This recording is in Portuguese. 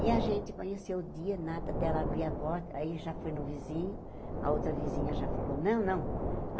E a gente conheceu o dia, nada, dela abrir a porta, aí já foi no vizinho, a outra vizinha já falou, não, não.